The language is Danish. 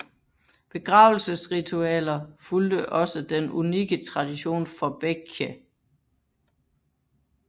Begravelsesritualer fulgte også den unikke tradition for Baekje